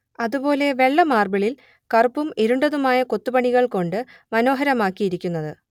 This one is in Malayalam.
അതുപോലെ വെള്ള മാർബിളിൽ കറുപ്പും ഇരുണ്ടതുമായ കൊത്തുപണികൾ കൊണ്ട് മനോഹരമാക്കിയിരിക്കുന്നത്